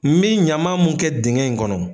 N mi ɲaman mun kɛ digɛn in kɔnɔ